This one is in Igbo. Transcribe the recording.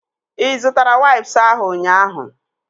Ị zụtara waips ahụ ụnyaahụ?